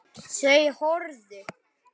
Þau horfðu.